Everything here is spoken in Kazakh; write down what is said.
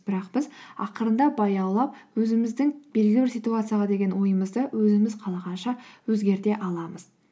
бірақ біз ақырындап баяулап өзіміздің белгілі бір ситуацияға деген ойымызды өзіміз қалағанша өзгерте аламыз